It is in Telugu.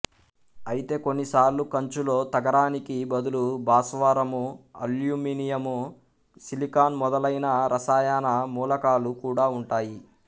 అయితే కొన్ని సార్లు కంచులో తగరానికి బదులు భాస్వరము అల్యూమినియం సిలికాన్ మొదలైన రసాయన మూలకాలు కూడా ఉంటాయి